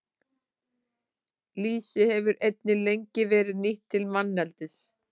Lýsi hefur einnig lengi verið nýtt til manneldis.